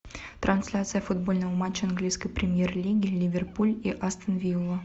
трансляция футбольного матча английской премьер лиги ливерпуль и астон вилла